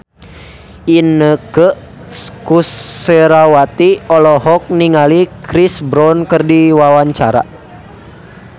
Inneke Koesherawati olohok ningali Chris Brown keur diwawancara